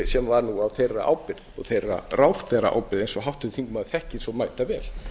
sem var nú á þeirra ábyrgð og þeirra ráðherraábyrgð eins og háttvirtur þingmaður þekkir svo mætavel